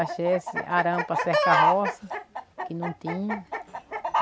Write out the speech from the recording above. Achei esse arame para cercar roça, que não tinha.